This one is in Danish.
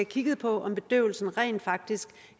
kigget på om bedøvelsen rent faktisk